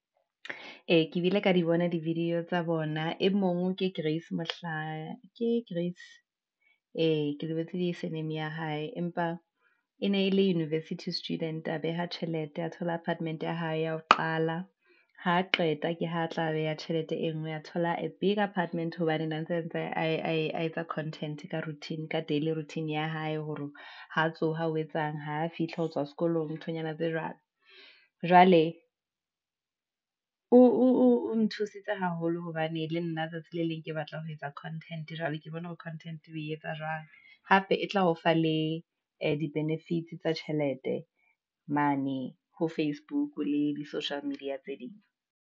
Ee, ke bile ka di bona di video tsa bona, e mong ke Grace ee, ke lebetse surname ya hae. Empa e ne e le university student, a beha tjhelete oe thola apartment-e ya hae ya ho qala, ha qeta ke ho tla beha tjhelete e nngwe a thola a biger apartment, hobane ka daily routine ya hae, hore ha tsoha o etsang, ha fihla ho tswa sekolong nthonyana tse jwalo, jwale , o nthusitse haholo hobane le nna tsatsi le leng ke batla ho etsa content, jwale ke bona ho content ho e etsa jwang, hape e tla o fa le di benefits tsa tjhelete, mane ho facebook le di social media tse ding.